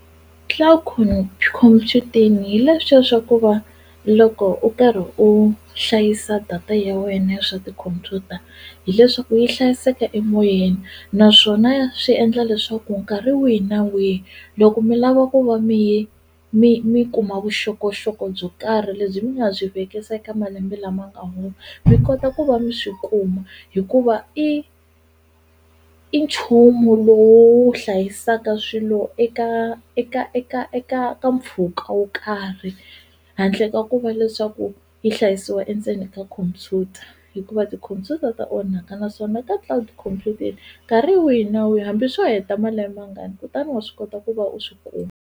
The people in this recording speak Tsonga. Cloud Computing hi leswiya swa ku va loko u karhi u hlayisa data ya wena ya swa tikhumpyuta hileswaku yi hlayiseka emoyeni naswona swi endla leswaku nkarhi wihi na wihi loko mi lava ku va mi yi mi mi kuma vuxokoxoko byo karhi lebyi mi nga byi vekisa eka malembe lama nga hundza mi kota ku va mi swi kuma hikuva i i nchumu lowo wu hlayisaka swilo eka eka eka eka ka mpfhuka wo karhi handle ka ku va leswaku yi hlayisiwa endzeni ka khompyuta hikuva tikhompyuta ta onhaka naswona ka Cloud Computing nkarhi wihi na wihi hambi swo heta malembe mangani kutani wa swi kota ku va u swi kuma